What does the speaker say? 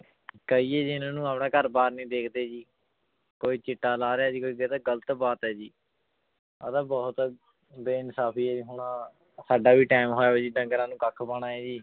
ਕਹੀਏ ਜੀ ਇਹਨਾਂ ਨੂੰ ਆਪਣਾ ਘਰ ਬਾਰ ਨੀ ਦੇਖਦੇ ਜੀ ਕੋਈ ਚਿੱਟਾ ਲਾ ਰਿਹਾ ਜੀ ਕੋਈ ਗ਼ਲਤ ਬਾਤ ਹੈ ਜੀ, ਇਹ ਤਾਂ ਬਹੁਤ ਬੇਇਨਸਾਫ਼ੀ ਹੈ ਹੁਣ ਸਾਡਾ ਵੀ time ਜੀ ਡੰਗਰਾਂ ਨੂੰ ਕੱਖ ਪਾਉਣਾ ਹੈ ਜੀ